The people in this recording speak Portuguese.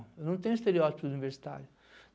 Eu não tenho estereótipo universitário.